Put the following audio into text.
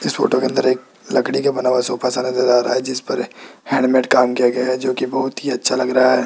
इस फोटो के अंदर एक लकड़ी का बना हुआ सोफा सा नजर आ रहा जिसपर हैंडमेट काम किया गया है जो की बहुत ही अच्छा लग रहा है।